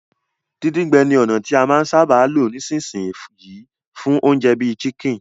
Díndín-gbẹ ni ònà ti a máa n sábà lo nisínsìn yii fún ounje bi chicken